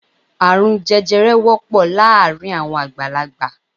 Árùn jẹjẹrẹ wọ́pọ̀ láàárín àwọn àgbàlagbà